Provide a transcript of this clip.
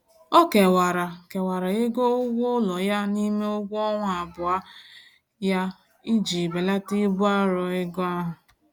Ọ kewara kewara ego ụgwọụlọ ya n'ime ụgwọọnwa abụọ ya iji belata ibu arọ ego ahụ.